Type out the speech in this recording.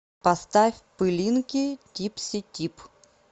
поставь пылинки типси тип